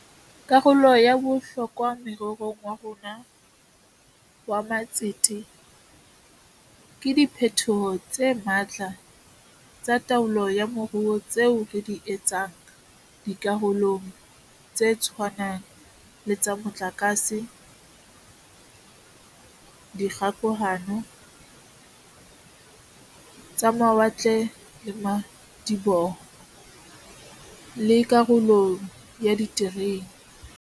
Karolo ya bohlokwa more rong wa rona wa matsete ke diphetoho tse matla tsa taolo ya moruo tseo re di etsang di karolong tse tshwanang le tsa motlakase, tsa dikgokahano, tsa mawatle le madiboho, le karolong ya diterene.